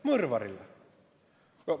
Mõrvarile!